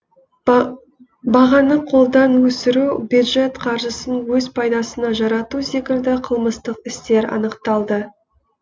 бағаны қолдан өсіру бюджет қаржысын өз пайдасына жарату секілді қылмыстық істер анықталды